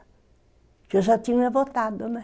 Porque eu já tinha votado, né?